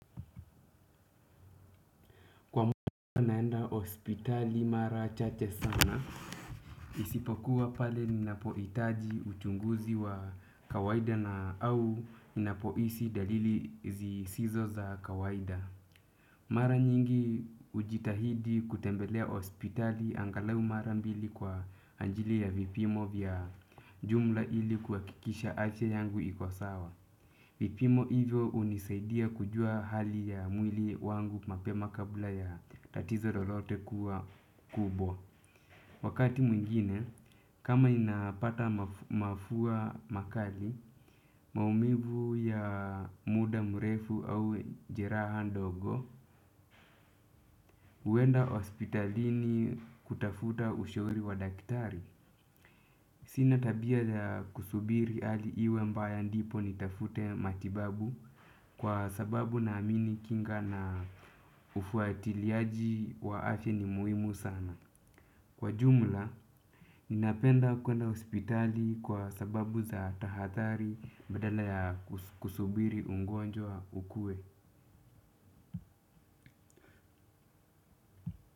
Kwa mwaka naenda hospitali mara chache sana. Isipokuwa pale ninapohitaji uchunguzi wa kawaida au ninapohisi dalili zisizo za kawaida. Mara nyingi ujitahidi kutembelea hospitali angalau mara mbili kwa ajili ya vipimo vya jumla ili kuhakikisha afya yangu iko sawa vipimo hivyo unisaidia kujua hali ya mwili wangu mapema kabla ya tatizo lolote kuwa kubwa. Wakati mwingine, kama ninapata mafua makali, maumivu ya muda mrefu au jeraha ndogo, huenda hospitalini kutafuta ushauri wa daktari. Sina tabia ya kusubiri hali iwe mbaya ndipo ni tafute matibabu kwa sababu na amini kinga na ufuatiliaji wa afya ni muhimu sana. Kwa jumla, ninapenda kuenda hospitali kwa sababu za tahathari badala ya kusubiri ugonjwa ukuwe.